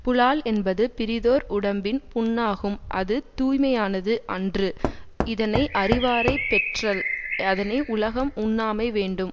புலால் என்பது பிறிதோர் உடம்பின் புண்ணாகும் அது தூய்மையானது அன்று இதனை அறிவாரைப் பெற்றல் அதனை உலகம் உண்ணாமை வேண்டும்